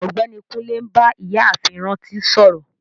Ọgbẹni Kùnlé n bá Ìyààfin Rántí sọ̀rọ.